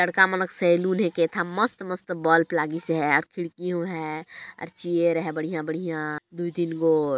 लड़का मन का सैलून है कैथन मस्त-मस्त बल्ब लागिस है खिड़की भी है और चेयर है बढ़िया बढ़िया दू तीन